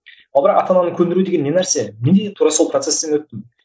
ал бірақ ата ананы көндіру деген не нәрсе міне тура сол процестен өттім